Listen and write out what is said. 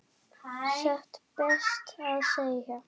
Satt best að segja.